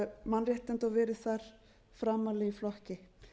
mannréttinda og verið þar framarlega í flokki